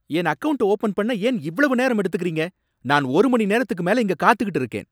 என் அக்கவுண்ட்ட ஓப்பன் பண்ண ஏன் இவ்வளவு நேரம் எடுக்குறீங்க? நான் ஒரு மணிநேரத்துக்கு மேல இங்க காத்துக்கிட்டு இருக்கேன்!